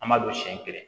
An b'a don siɲɛ kelen